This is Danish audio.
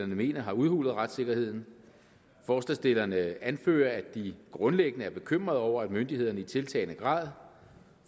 mener har udhulet retssikkerheden forslagsstillerne anfører at de grundlæggende er bekymrede over at myndighederne i tiltagende grad